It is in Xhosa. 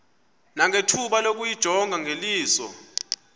nangethuba lokuyijonga ngeliso